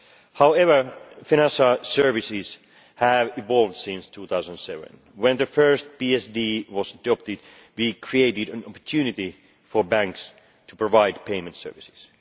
However, financial services have evolved since 2007. When the first PSD was adopted it created an opportunity for banks to provide payment services.